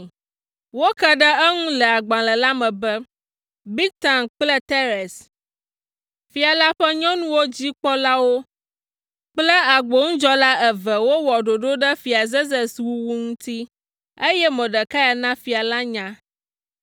Woke ɖe eŋu le agbalẽ la me be, Bigtan kple Teres, fia la ƒe nyɔnuwo dzi kpɔlawo kple agbonudzɔla eve wowɔ ɖoɖo ɖe Fia Zerzes wuwu ŋuti, eye Mordekai na fia la nya.